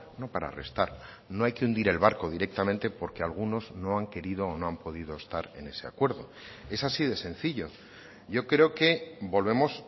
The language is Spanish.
no para restar no hay que hundir el barco directamente porque algunos no han querido o no han podido estar en ese acuerdo es así de sencillo yo creo que volvemos